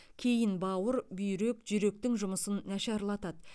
кейін бауыр бүйрек жүректің жұмысын нашарлатады